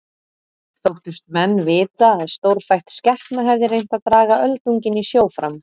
Þóttust menn vita að stórfætt skepna hefði reynt að draga öldunginn í sjó fram.